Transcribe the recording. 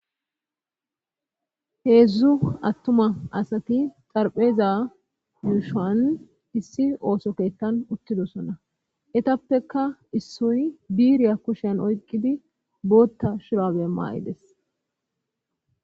heedzdzu attuma asati xarpheeza yuushan issi ooso keetkan uttidosona etappeka issoy biiriya kushean oyqqidi bootta shirabe maay7ides